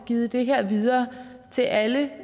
givet det her videre til alle